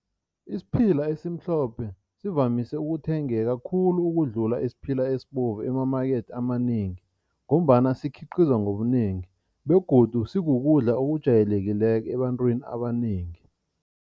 Isiphila esimhlophe sivamise ukuthengeka khulu ukudlula esiphila esibovu emamakethe amanengi ngombana sikhiqizwa ngobunengi begodu sikukudla okujwayelekileko ebantwini abanengi.